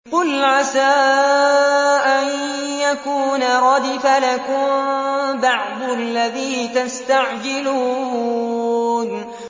قُلْ عَسَىٰ أَن يَكُونَ رَدِفَ لَكُم بَعْضُ الَّذِي تَسْتَعْجِلُونَ